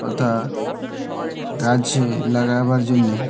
পলতা-আ লাগছে লাগাবার জন্যে--